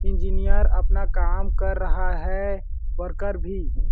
engineer अपना काम कर रहा है वर्कर भी --